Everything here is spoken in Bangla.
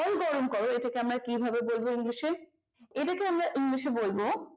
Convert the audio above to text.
জল গরম কর এটাকে আমরা কিভাবে বলবো english এ এটাকে আমরা english বলব